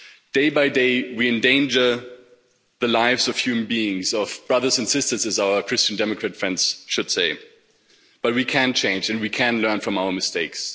Day by day, we endanger the lives of human beings, of our brothers and sisters, as our Christian Democrat friends would say, but we can change and we can learn from our mistakes.